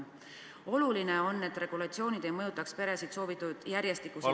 On oluline, et regulatsioonid ei mõjutaks peresid soovitud järjestikuseid sünde ...